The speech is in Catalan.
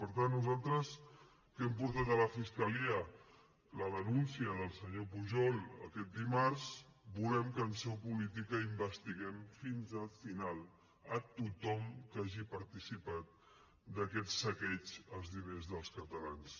per tant nosaltres que hem portat a la fiscalia la denúncia del senyor pujol aquest dimarts volem que en seu política investiguem fins al final a tothom que hagi participat d’aquest saqueig als diners dels catalans